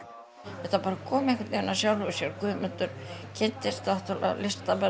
þetta kom bara einhvern veginn af sjálfu sér Guðmundur kynntist náttúrulega listamönnum